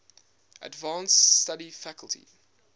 advanced study faculty